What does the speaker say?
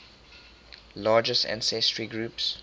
largest ancestry groups